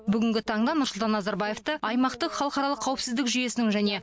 бүгінгі таңда нұрсұлтан назарбаевты аймақтық халықаралық қауіпсіздік жүйесінің және